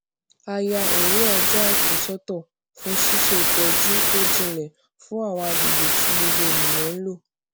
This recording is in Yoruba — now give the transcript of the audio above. a ya òwúrò ọjọ àìkú sótò fún ṣíṣe ìtọjú tó jilẹ fún àwọn àgbègbè tí gbogbo ènìyàn ń lò